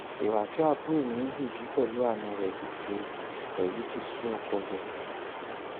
ìwà tí àbúrò mi ń hù yìí pẹlú àna rẹ yìí ti rẹ yìí ti sú ọkọ rẹ